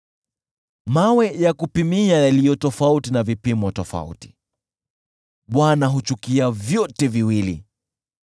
Mawe ya kupimia yaliyo tofauti na vipimo tofauti, Bwana huchukia vyote viwili.